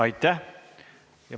Aitäh!